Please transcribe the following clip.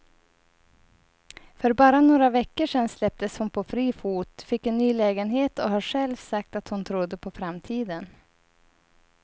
För bara några veckor sedan släpptes hon på fri fot, fick en ny lägenhet och har själv sagt att hon trodde på framtiden.